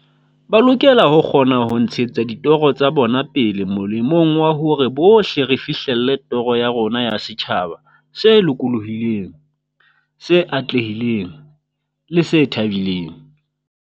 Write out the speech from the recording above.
Ba lokela ho kgona ho ntshetsa ditoro tsa bona pele molemong wa hore bohle re fihlelle toro ya rona ya setjhaba se lokolohileng, se atlehileng le se thabileng.